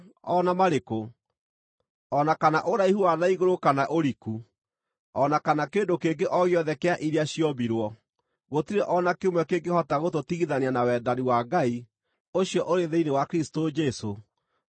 o na kana ũraihu wa na igũrũ kana ũriku, o na kana kĩndũ kĩngĩ o gĩothe kĩa iria ciombirwo: gũtirĩ o na kĩmwe kĩngĩhota gũtũtigithania na wendani wa Ngai, ũcio ũrĩ thĩinĩ wa Kristũ Jesũ, Mwathani witũ.